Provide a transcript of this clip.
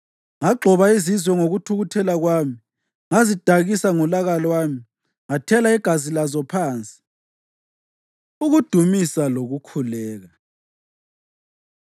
Ngagxoba izizwe ngokuthukuthela kwami, ngazidakisa ngolaka lwami, ngathela igazi lazo phansi.” Ukudumisa Lokukhuleka